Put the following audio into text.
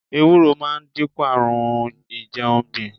Ewúro máa dínkù àrùn a ìjẹun gbìn.